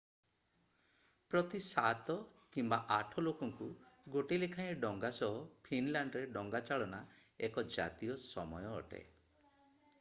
ପ୍ରତି 7 କିମ୍ବା 8 ଲୋକଙ୍କୁ ଗୋଟେ ଲେଖାଏଁ ଡଙ୍ଗା ସହ ଫିନଲାଣ୍ଡରେ ଡଙ୍ଗାଚାଳନା ଏକ ଜାତୀୟ ସମୟ ଅଟେ